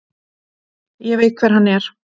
Ég veit hver hann er.